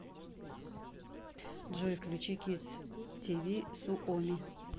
джой включи кидс ти ви суоми